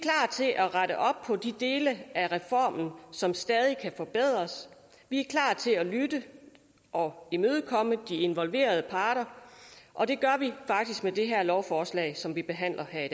til at rette op på de dele af reformen som stadig kan forbedres vi er klar til at lytte og imødekomme de involverede parter og det gør vi faktisk med det her lovforslag som vi behandler her i